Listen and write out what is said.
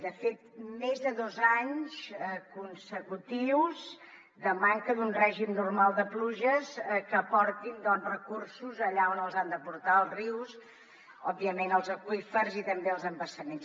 de fet més de dos anys consecutius de manca d’un règim normal de pluges que aportin doncs recursos allà on els han d’aportar als rius òbviament als aqüífers i també als embassaments